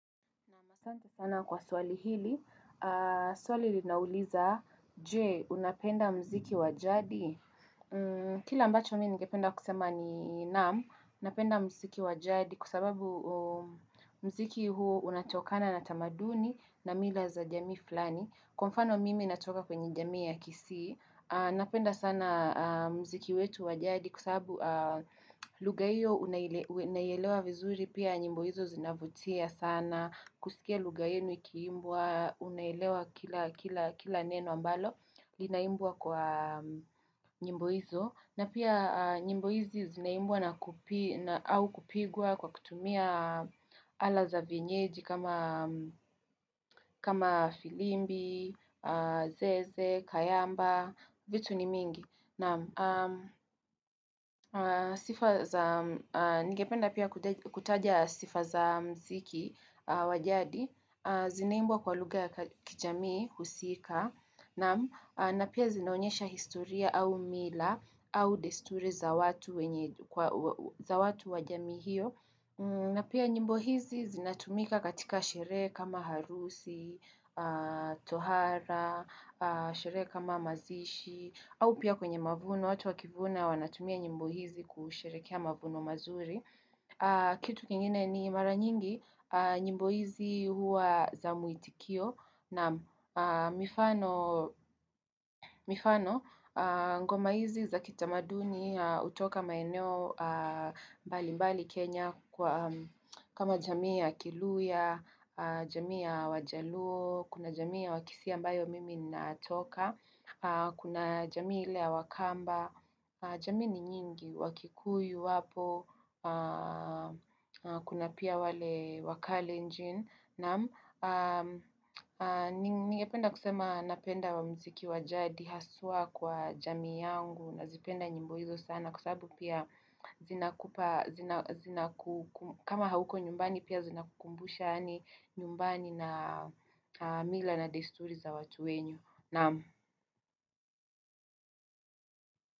Naam, asante sana kwa swali hili, swali linauliza, je, unapenda mziki wa jadi? Kila ambacho mimi ningependa kusema ni naam, napenda mziki wa jadi kwa sababu Mziki huu unatokana na tamaduni na mila za jamii flani. Kwa mfano mimi natoka kwenye jamii ya kisii, napenda sana mziki wetu wa jadi kwa sabu lugha hiyo unaielewa vizuri pia nyimbo hizo zinavutia sana. Kusikia lugha yenu ikiimbwa, unaelewa kila, kila, kila neno ambalo, linaimbwa kwa nyimbo hizo. Na pia nyimbo hizi zinaimbwa na au kupigwa kwa kutumia ala za vienyeji kama filimbi, zeze, kayamba, vitu ni mingi. Naam, sifa za, nigependa pia kutaja sifa za mziki wa jadi, zinaimbwa kwa lugha ki jamiii husika, na pia zinaonyesha historia au mila au desturi za watu za watu wa jamii hiyo na pia nyimbo hizi zinatumika katika sherehe kama harusi, tohara, sherehe kama mazishi, au pia kwenye mavuno watu wakivuna wanatumia nyimbo hizi kusherekea mavuno mazuri. Kitu kengine ni mara nyingi, nyimbo hizi huwa na muitikio naam, mifano ngoma hizi za kitamaduni hutoka maeneo mbali mbali Kenya kama jamii ya kiluya, jamii ya wajaluo, kuna jamii ya wakisii ambayo mimi natoka, kuna jamii ile ya wakamba. Jamii ni nyingi, wakikuyu wapo Kuna pia wale wakalenjin. Naam ningependa kusema napenda mziki wa jadi haswa kwa jamii yangu nazipenda nyimbo hizo sana kwa sababu pia zinakupa kama hauko nyumbani pia zina kukumbusha yani nyumbani na mila na desturi za watu wenyu Nam.